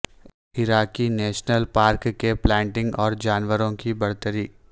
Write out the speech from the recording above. اراکی national park کے plant اور جانوروں کی برتری